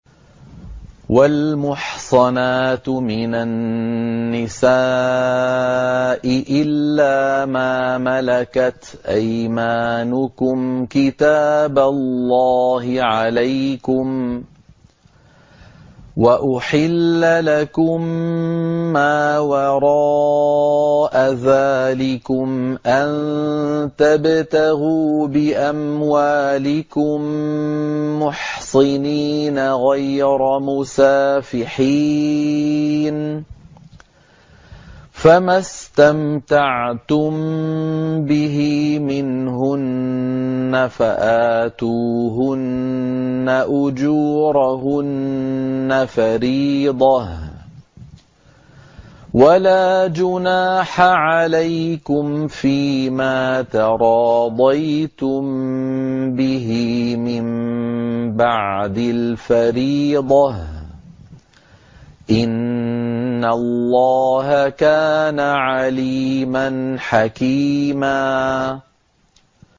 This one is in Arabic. ۞ وَالْمُحْصَنَاتُ مِنَ النِّسَاءِ إِلَّا مَا مَلَكَتْ أَيْمَانُكُمْ ۖ كِتَابَ اللَّهِ عَلَيْكُمْ ۚ وَأُحِلَّ لَكُم مَّا وَرَاءَ ذَٰلِكُمْ أَن تَبْتَغُوا بِأَمْوَالِكُم مُّحْصِنِينَ غَيْرَ مُسَافِحِينَ ۚ فَمَا اسْتَمْتَعْتُم بِهِ مِنْهُنَّ فَآتُوهُنَّ أُجُورَهُنَّ فَرِيضَةً ۚ وَلَا جُنَاحَ عَلَيْكُمْ فِيمَا تَرَاضَيْتُم بِهِ مِن بَعْدِ الْفَرِيضَةِ ۚ إِنَّ اللَّهَ كَانَ عَلِيمًا حَكِيمًا